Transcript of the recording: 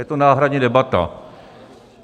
Je to náhradní debata.